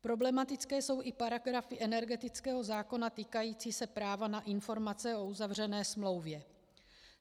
Problematické jsou i paragrafy energetického zákona týkající se práva na informace o uzavřené smlouvě.